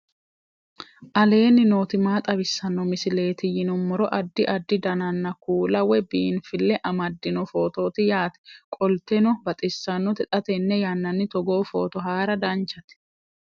aleenni nooti maa xawisanno misileeti yinummoro addi addi dananna kuula woy biinfille amaddino footooti yaate qoltenno baxissannote xa tenne yannanni togoo footo haara danchate